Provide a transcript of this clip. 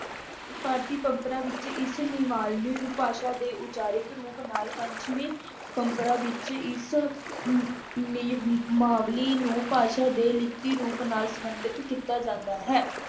ਭਾਰਤੀ ਪ੍ਰੰਪਰਾ ਵਿੱਚ ਇਸ ਨੇਵਾਬਲੀ ਨੂੰ ਭਾਸ਼ਾ ਦੇ ਉਚਾਰਿਤ ਰੂਪ ਨਾਲ ਪੰਚਮੀ ਪ੍ਰੰਪਰਾ ਵਿੱਚ ਇਸ ਨੇਵਾਬਲੀ ਨੂੰ ਭਾਸ਼ਾ ਦੇ ਲਿਖਤੀ ਰੂਪ ਨਾਲ ਸਬੰਧਿਤ ਕੀਤਾ ਜਾਂਦਾ ਹੈ।